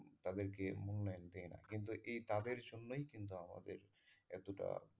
তাদেরকে মুল্যায়ন দেই না কিন্তু এই তাদের জন্যই কিন্তু আমাদের এতোটা,